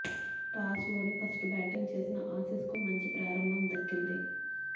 toss ఓడి first batting చేసిన Aussies కు మంచి ప్రారంభం దక్కింది